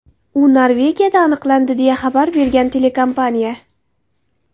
U Norvegiyada aniqlandi”, deya xabar bergan telekompaniya.